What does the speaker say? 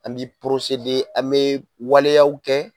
An bɛ an bɛ waleyaw kɛ